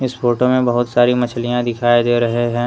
इस फोटो में बहोत सारी मछलियां दिखाई दे रहे हैं।